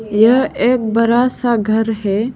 यह एक बड़ा सा घर है।